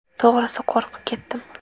To‘g‘risi, qo‘rqib ketdim.